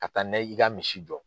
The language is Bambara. Ka taa na y i ka misi jɔ.